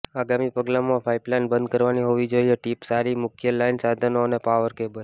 આગામી પગલામાં પાઇપલાઇન બંધ કરવાની હોવી જોઈએ ટીપ સારી મુખ્ય લાઇન સાધનો અને પાવર કેબલ